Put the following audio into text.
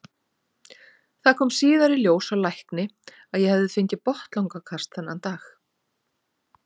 Það kom síðar í ljós hjá lækni að ég hafði fengið botnlangakast þennan dag.